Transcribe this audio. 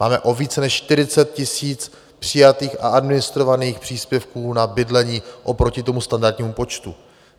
Máme o více než 40 000 přijatých a administrovaných příspěvků na bydlení oproti tomu standardnímu počtu.